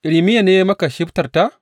Irmiya ne ya yi maka shibtar ta?